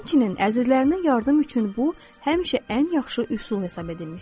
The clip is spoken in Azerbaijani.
Həmçinin əzizlərinə yardım üçün bu həmişə ən yaxşı üsul hesab edilmişdir.